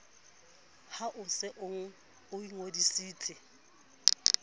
ha o se o ingodisitse